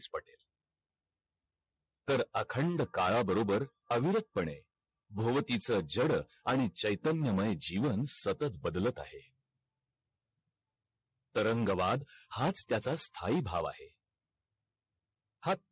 तर अखंड काळाबरोबर अविरत पणे भोवतीचा जड आणि चैतन्यमय जीवन सतत बदलत आहे तरंगवाद हाच त्याचा स्थाही भाव आहे हा